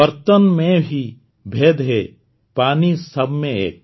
ବର୍ତ୍ତନ ମେଁ ହି ଭେଦ୍ ହେ ପାନୀ ସବମେଁ ଏକ